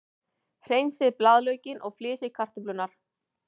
Hreinsið blaðlaukinn og flysjið kartöflurnar.